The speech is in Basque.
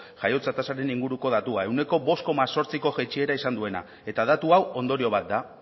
jaiotze tasaren inguruko datua ehuneko bost koma zortziko jaitsiera izan duena eta datu hau ondorio bat da